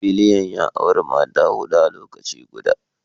Biliyan ya auri Mata hudu a lokaci guda